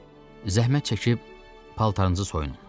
Zəhmət çəkib paltarınızı soyunun.